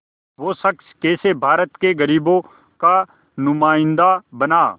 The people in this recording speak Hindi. वो शख़्स कैसे भारत के ग़रीबों का नुमाइंदा बना